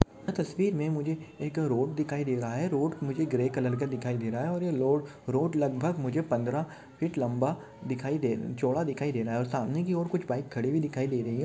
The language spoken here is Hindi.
तस्वीर में मुझे एक रोड दिखाई दे रहा है रोड मुझे ग्रे कलर का दिखाई दे रहा है रोड मुझे लगभग मुझे पंधरा फीट लंबा दिखाई चौडा दिखाई दे रहा है सामने की और मुझे कुछ बाइक खड़ी दिखाई दे रही है।